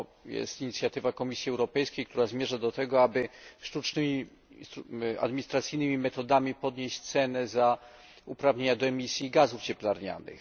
Jest to inicjatywa Komisji Europejskiej, która zmierza do tego, aby sztucznymi, administracyjnymi metodami podnieść cenę uprawnień do emisji gazów cieplarnianych.